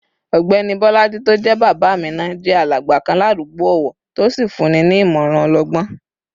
Ọ̀gbẹ́ni Bolaji tó jẹ́ bàbá Amina jẹ́ alàgbà kan ládùúgbò ọ̀wọ̀ tó sì fúnni ní ìmọ̀ràn ọlọgbọ́n